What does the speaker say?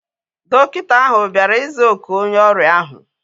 Dọkịta ahu bịara ịza oku onye ọrịa ahu